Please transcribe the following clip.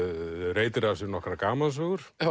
reytir af sér nokkrar gamansögur